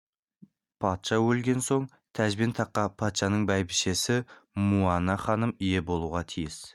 патша өлген соң тәж бен таққа патшаның бәйбішесі муана ханым ие болуға тиіс